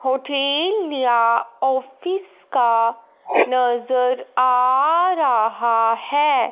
Hotel या office का नजर आ रहा है।